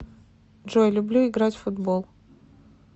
джой люблю играть в футбол